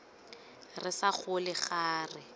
re sa gole ga re